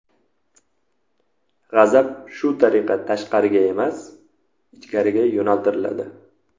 G‘azab shu tariqa tashqariga emas, ichkariga yo‘naltiriladi.